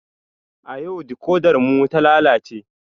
A yau dikodar mu ta lalace